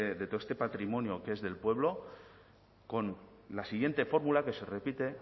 este patrimonio que es del pueblo con la siguiente fórmula que se repite